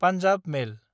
Punjab मेल